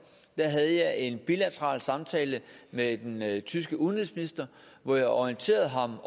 havde jeg en bilateral samtale med den tyske udenrigsminister hvor jeg orienterede ham